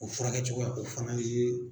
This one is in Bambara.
O furakɛcogoya o fana ye.